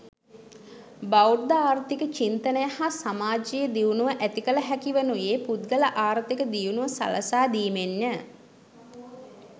බෞද්ධ ආර්ථික චින්තනය හා සමාජීය දියුණුව ඇති කළ හැකිවනුයේ පුද්ගල ආර්ථික දියුණුව සලසා දීමෙන්ය.